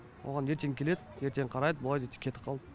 оған ертең келеді ертең қарайды былай деп кетіп қалды